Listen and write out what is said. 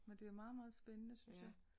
Men det er meget meget spændende synes jeg